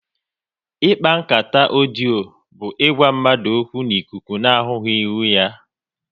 Ikpa nkata ọdio bụ ịgwa mmadụ okwu n'ikuku na ahụghị ihu ha